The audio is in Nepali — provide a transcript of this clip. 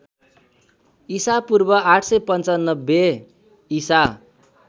ईपू ८९५ ईसा